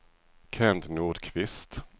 Kent Nordqvist